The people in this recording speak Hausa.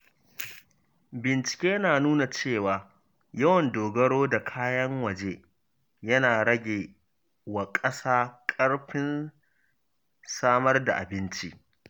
Bincike na nuna cewa yawan dogaro da kayan waje yana rage wa ƙasa ƙarfin samar da abinci.